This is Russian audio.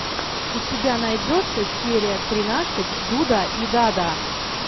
у тебя найдется серия тринадцать дуда и дада